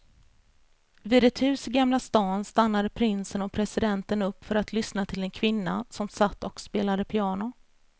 Vid ett hus i gamla stan stannade prinsen och presidenten upp för att lyssna till en kvinna som satt och spelade piano.